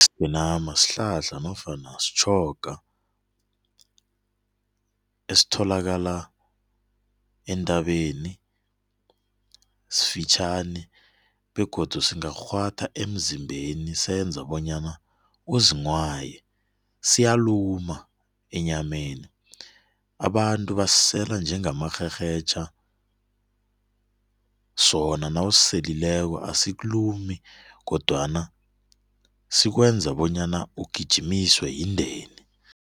Isigenama sihlahla nofana sitjhoga esitholakala entabeni sifitjhani begodu singakurhwatha emzimbeni senza bonyana uzinghwaye siyaluma enyameni. Abantu basisela njengamarherhetjha sona nawusiselileko asikulumi kodwana sikwenza bonyana ugijimiswe yindeni.